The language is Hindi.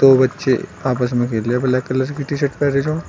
दो बच्चे आपस में खेले रहे ब्लैक कलर की टी शर्ट पहने जो--